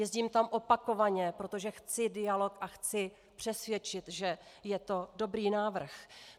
Jezdím tam opakovaně, protože chci dialog a chci přesvědčit, že je to dobrý návrh.